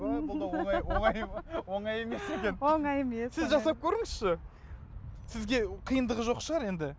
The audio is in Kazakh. ой бұл да оңай оңай оңай емес екен оңай емес сіз жасап көріңізші сізге қиындығы жоқ шығар енді